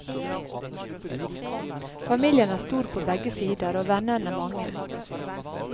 Familien er stor på begge sider, og vennene mange.